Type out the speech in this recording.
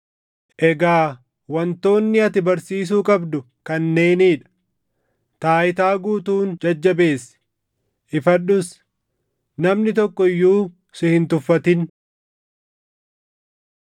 Egaa wantoonni ati barsiisuu qabdu kanneenii dha. Taayitaa guutuun jajjabeessi; ifadhus. Namni tokko iyyuu si hin tuffatin.